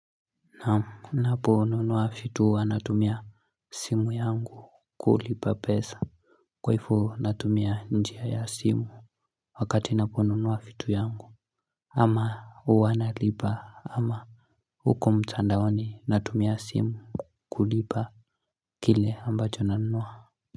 Naam naponunua vitu huwa natumia simu yangu kulipa pesa Kwa hivo natumia njia ya simu Wakati naponunua vitu yangu ama huwa nalipa ama huko mtandaoni natumia simu kulipa Kile ambacho nanunua.